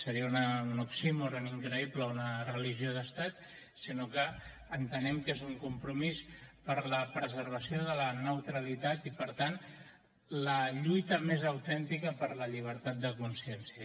seria un oxímoron increïble una religió d’estat sinó que entenem que és un compromís per a la preservació de la neutralitat i per tant la lluita més autèntica per la llibertat de consciència